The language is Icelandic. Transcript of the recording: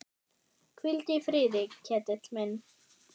Hvíldu í friði, Ketill minn.